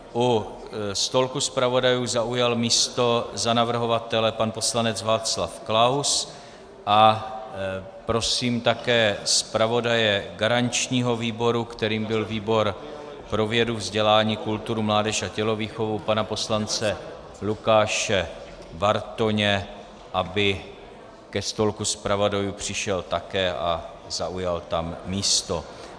U stolku zpravodajů zaujal místo za navrhovatele pan poslanec Václav Klaus a prosím také zpravodaje garančního výboru, kterým byl výbor pro vědu, vzdělání, kulturu, mládež a tělovýchovu, pana poslance Lukáše Bartoně, aby ke stolku zpravodajů přišel také a zaujal tam místo.